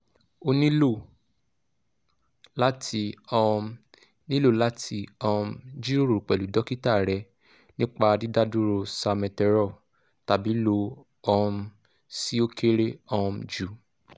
o nilo lati um nilo lati um jiroro pẹlu dokita rẹ nipa didaduro salmeterol tabi lo um si o kere um ju